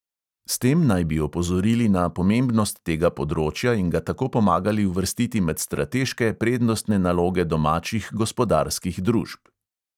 S tem naj bi opozorili na pomembnost tega področja in ga tako pomagali uvrstiti med strateške prednostne naloge domačih gospodarskih družb.